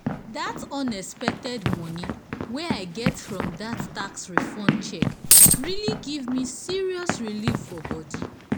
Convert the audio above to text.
dat unexpected moni wey i get from dat tax refund check really give me serious relief for bodi